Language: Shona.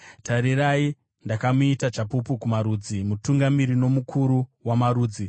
Tarirai, ndakamuita chapupu kumarudzi, mutungamiri nomukuru wamarudzi.